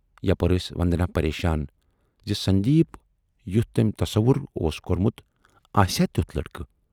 یپٲرۍ ٲس وندنا پریشان زِ سندیپ یُتھ تمٔۍ تصُوّر اوس کورمُت آسیا تیُتھ لٔڑکہٕ۔